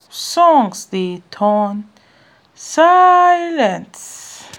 songs dey turn um silence